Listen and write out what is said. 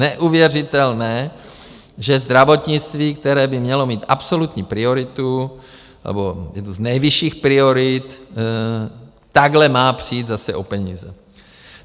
Neuvěřitelné, že zdravotnictví, které by mělo být absolutní prioritu, nebo jednu z nejvyšších priorit, takhle má přijít zase o peníze.